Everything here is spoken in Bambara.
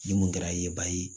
Ni mun kɛra ye ba ye